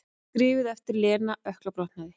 Skrifuð eftir að Lena ökklabrotnaði.